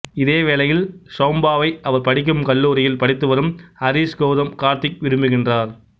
இதே வேளையில் சௌம்யாவை அவர் படிக்கும் கல்லூரியில் படித்துவரும் ஹரிஷ் கௌதம் கார்த்திக் விரும்புகின்றார்